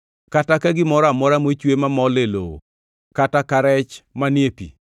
kata ka gimoro amora mochwe mamol e lowo kata ka rech manie pi.